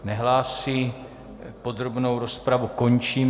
Nehlásí, podrobnou rozpravu končím.